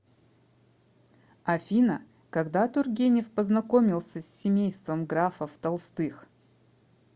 афина когда тургенев познакомился с семейством графов толстых